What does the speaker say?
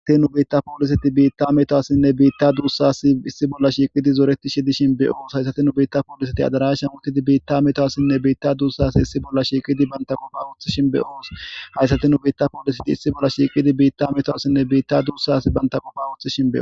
Hayssati nu biitta pallisseti biita metuwassine biitta dussi issi bolla shiqqidi zorretishe dishshin be'osi hayssati nu biita polliseti addarashan uttidi biitta metuwassine biitta dussasi issi bolla shiqqidi bantta qofa woththishin be'osi hayssati nu biita polliseti issi bolla shiqqidi biita metowasine biita dussas bantta qoffa woththidhin be'osi.